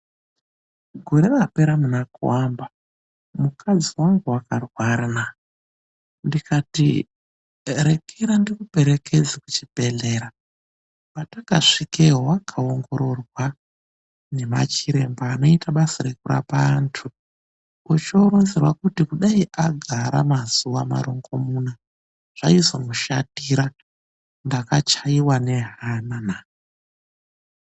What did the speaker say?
Gore rapera munaKuamba, mukadzi wangu wakarwarana. Ndikati rekera ndikuperekedze kuchibhedhlera. Patakasvikeyo wakaongororwa nemachiremba anoita basa rekurapa antu, ochoronzerwa kuti kudai agara mazuwa marongomuna zvaizomushatira. Ndakachaiwa nehama naa.